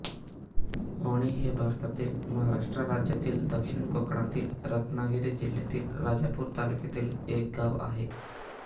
ओणी हे भारतातील महाराष्ट्र राज्यातील दक्षिण कोकणातील रत्नागिरी जिल्ह्यातील राजापूर तालुक्यातील एक गाव आहे